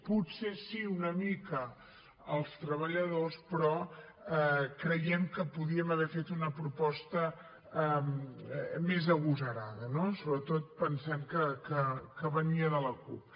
potser sí una mica els treballadors però creiem que podríem haver fet una proposta més agosarada no sobretot pensant que venia de la cup